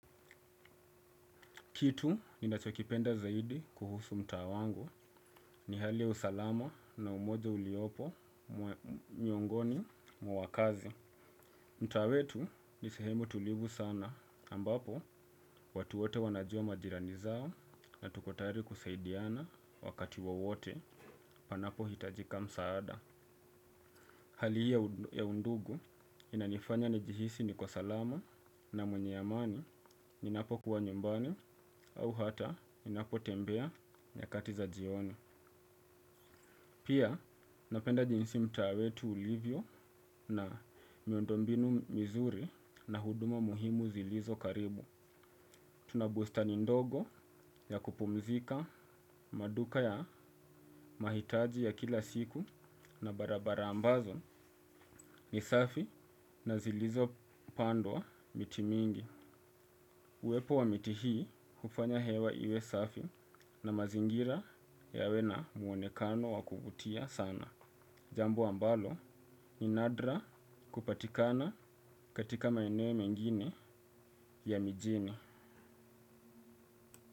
Kitu ninachokipenda zaidi kuhusu mtaa wangu ni hali ya usalama na umoja uliopo miongoni mwa wakaazi. Mta wetu ni sehemu tulivu sana ambapo watu wote wanajua majirani zao na tuko tayari kusaidiana wakati wowote panapohitajika msaada. Hali hii ya undugu inanifanya nijihisi niko salama na mwenye amani ninapo kuwa nyumbani au hata ninapo tembea nyakati za jioni. Pia napenda jinsi mtaa wetu ulivyo na miundo mbinu mizuri na huduma muhimu zilizo karibu. Tuna bustani ndogo ya kupumzika, maduka ya mahitaji ya kila siku na barabara ambazo ni safi na zilizopandwa miti mingi. Uwepo wa miti hii hufanya hewa iwe safi na mazingira yawe na muonekano wa kuvutia sana. Jambo ambalo ni nadra kupatikana katika maenei mengine ya mijini.